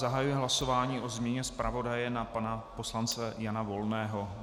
Zahajuji hlasování o změně zpravodaje na pana poslance Jana Volného.